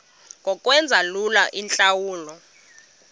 ngokwenza lula iintlawulo